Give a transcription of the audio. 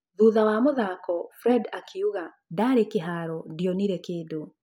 Thutha wa muthako, fred akiuga; ndarĩ kĩharo ndionire kĩndũ